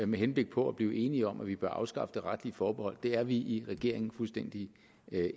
med henblik på at blive enige om at vi bør afskaffe det retlige forbehold det er vi i regeringen fuldstændig